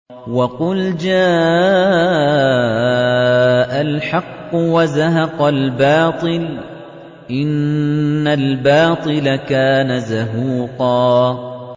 وَقُلْ جَاءَ الْحَقُّ وَزَهَقَ الْبَاطِلُ ۚ إِنَّ الْبَاطِلَ كَانَ زَهُوقًا